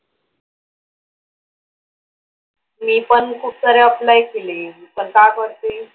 मी पण खुपसारे apply केले पण वरती.